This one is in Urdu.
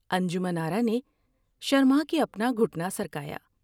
انجمن آرا نے شرما کے اپنا گھٹنا سرکایا ۔